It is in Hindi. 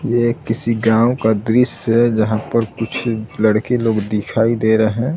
ये किसी गांव का दृश्य है जहाँ पर कुछ लड़के लोग दिखाई दे रहे --